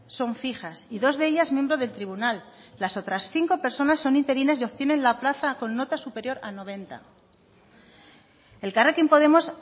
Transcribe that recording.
son fijas y dos de ellas miembros del tribunal las otras cinco personas son interinas y obtienen la plaza con nota superior a noventa elkarrekin podemos